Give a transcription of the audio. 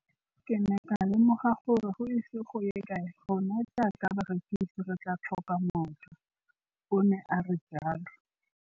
Ke ne ka lemoga gore go ise go ye kae rona jaaka barekise re tla tlhoka mojo, o ne a re jalo.